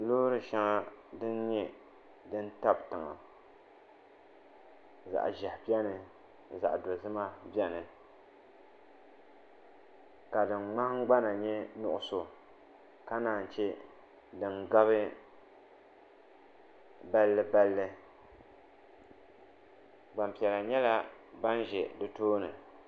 loori shɛŋa din nyɛ din tabi tiŋa zaɣ ʒiɛhi biɛni ka zaɣ dozima biɛni ka din nahangbana nyɛ nuɣso ka naan chɛ din gabi balli balli gbanpiɛla nyɛla ban ʒɛ di tooni